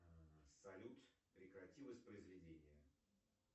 салют прекрати воспроизведение